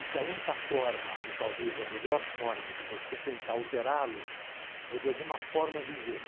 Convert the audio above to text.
E que a única forma, ou talvez a melhor forma de você tentar alterá-lo, é de alguma forma vivê-lo.